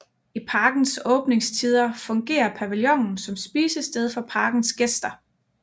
I parkens åbningstider fungerer pavillonen som spisested for parkens gæster